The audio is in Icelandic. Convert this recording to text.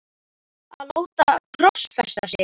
að láta krossfesta sig?